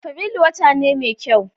Afrilu wata ne mai kyau